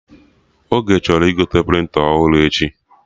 Oge chọrọ igote prịnta ọhụrụ echi